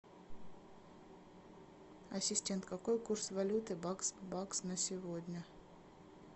ассистент какой курс валюты бакс бакс на сегодня